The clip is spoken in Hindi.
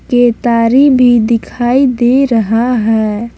केतारी भी दिखाई दे रहा है।